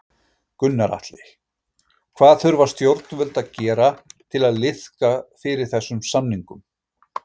Gunnar Atli: Hvað þurfa stjórnvöld að gera til að liðka fyrir þessum samningum?